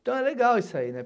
Então, é legal isso aí, né?